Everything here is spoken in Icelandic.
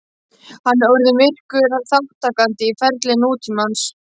Hann er orðinn virkur þátttakandi í ferli nútímans.